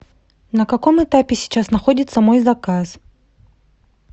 на каком этапе сейчас находится мой заказ